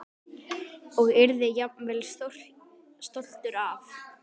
Og yrði jafnvel stoltur af.